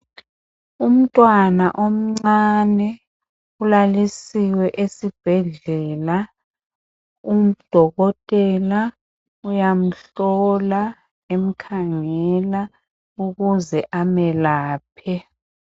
Umntwana omncane ulalisiwe esibhedlela udokotela uyamhlola emkhangela ukuze emelaphe.